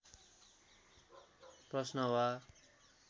प्रश्न वा